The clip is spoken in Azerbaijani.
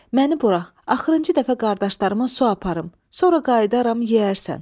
Məni burax, axırıncı dəfə qardaşlarıma su aparım, sonra qayıdaram, yeyərsən.